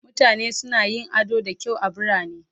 Mutane suna yin ado da kyau a birane